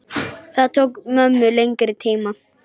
Það tók mömmu lengri tíma.